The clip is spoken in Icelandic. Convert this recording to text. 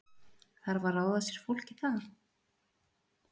Þarf að ráða sér fólk í það?